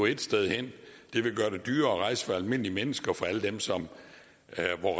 ét sted hen det vil gøre det dyrere at rejse for almindelige mennesker og for alle dem som